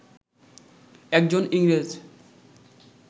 একজন ইংরেজ